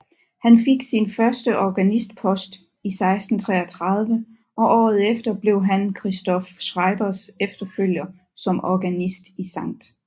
Han fik sin første organistpost i 1633 og året efter blev han Christoph Schreibers efterfølger som organist i Skt